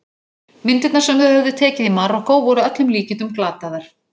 Myndirnar sem þau höfðu tekið í Marokkó voru að öllum líkindum glataðar.